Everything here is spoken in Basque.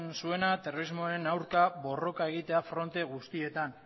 zuena terrorismoaren aurka borroka egitea fronte guztietan